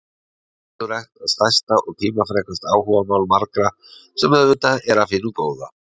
Heilsurækt er stærsta og tímafrekasta áhugamál margra, sem auðvitað er af hinu góða.